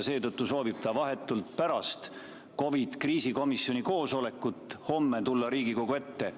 Seetõttu soovib ta vahetult pärast COVID‑i kriisikomisjoni koosolekut homme tulla Riigikogu ette.